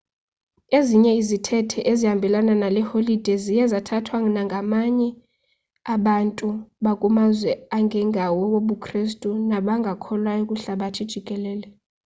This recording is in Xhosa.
ezinye izithethe ezihambelana nale holide ziye zathathwa nangabanye abantu bakumazwe angengawo awobukrestu nabangakholwayo kwihlabathi jikelele